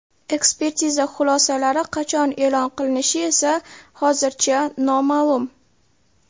Ekspertiza xulosalari qachon e’lon qilinishi esa hozircha noma’lum.